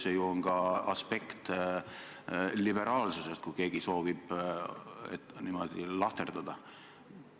Seal on ka liberaalsuse aspekt, kui keegi soovib niimoodi lahterdada.